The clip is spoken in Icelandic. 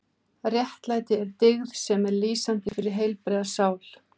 Réttlæti er dyggð sem er lýsandi fyrir heilbrigða sál.